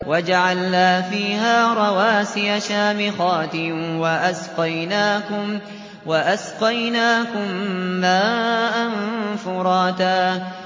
وَجَعَلْنَا فِيهَا رَوَاسِيَ شَامِخَاتٍ وَأَسْقَيْنَاكُم مَّاءً فُرَاتًا